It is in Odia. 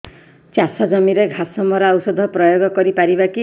ଚାଷ ଜମିରେ ଘାସ ମରା ଔଷଧ ପ୍ରୟୋଗ କରି ପାରିବା କି